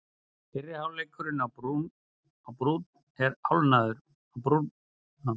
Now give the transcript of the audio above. Fyrri hálfleikurinn á Brúnn er hálfnaður